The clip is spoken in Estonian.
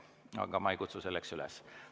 Aga ma ei kutsu selleks üles.